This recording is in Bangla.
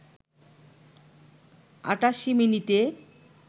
৮৮ মিনিটে